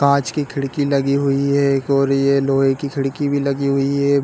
कांच की खिड़की लगी हुई है एक ओर ये लोहे की खिड़की भी लगी हुई है।